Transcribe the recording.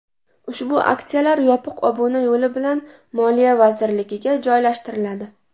Ushbu aksiyalar yopiq obuna yo‘li bilan Moliya vazirligiga joylashtiriladi.